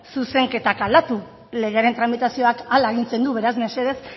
zuzenketak aldatu legearen tramitazioak hala agintzen du beraz mesedez